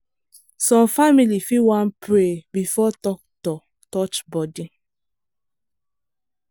some family fit wan pray before doctor touch body.